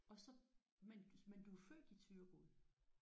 Og så men men du er født i Thyregod?